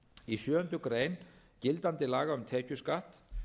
í sjöundu greinar gildandi laga um tekjuskatt